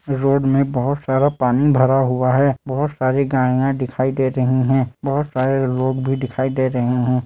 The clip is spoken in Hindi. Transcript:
रोड मे बहुत सारा पानी भरा हुआ है। बहुत सारी गाड़ियां दिखाई दे रही है। बहुत सारे लोग भी दिखाई दे रहे है।